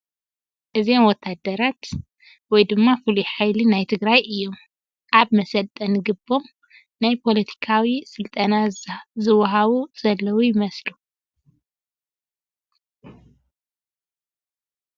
እዚኦም ወታሃደራት ወይ ድማ ፍሉይ ሓይሊ ናይ ትግራይ እዮም ፡ ኣብ መሰልጠኒ ግቦም ናይ ፖለቲካዊ ስልጠና ዝወሃቡ ዘለዉ ይመስሉ ።